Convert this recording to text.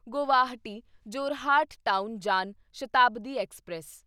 Guwahati Jorhat town Jan Shatabdi express